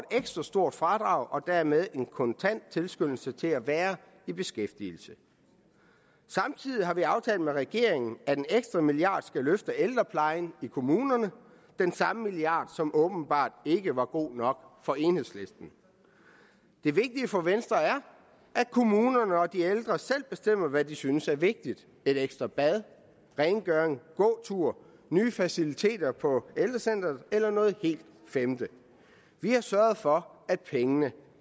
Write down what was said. et ekstra stort fradrag og dermed en kontant tilskyndelse til at være i beskæftigelse samtidig har vi aftalt med regeringen at en ekstra milliard skal løfte ældreplejen i kommunerne er den samme milliard som åbenbart ikke var god nok for enhedslisten det vigtige for venstre er at kommunerne og de ældre selv bestemmer hvad de synes er vigtigt et ekstra bad rengøring gåtur nye faciliteter på ældrecentret eller noget helt femte vi har sørget for at pengene